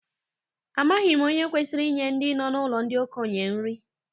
Amaghị m onye kwesịrị inye ndị nọ n'ụlọ ndị okenye nri